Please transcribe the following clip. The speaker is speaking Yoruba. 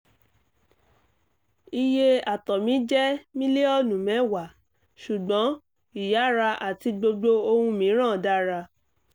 - iye àtọ̀ mi jẹ́ mílíọ̀nù mẹ́wàá ṣùgbọ́n ìyára àti gbogbo ohun mìíràn dára